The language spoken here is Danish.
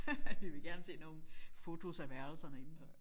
Jeg ville gerne se nogle fotos af værelserne indenfor